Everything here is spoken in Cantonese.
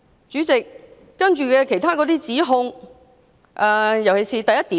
主席，我先說議案詳情的第一點。